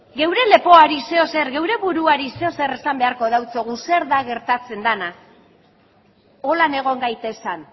geure lepoari zer edo zer geure buruari zer edo zer esan beharko diogu zer da gertatzen dena horrela egon gaitezen